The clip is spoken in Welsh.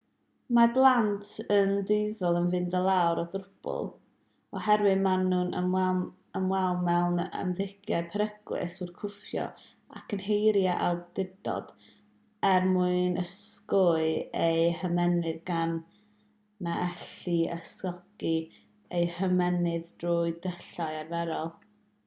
mae'r plant yn dueddol o fynd i lawer o drwbl oherwydd maen nhw'n ymwneud mewn ymddygiadau peryglus yn cwffio ac yn herio awdurdod er mwyn ysgogi eu hymennydd gan na ellir ysgogi eu hymennydd trwy ddulliau arferol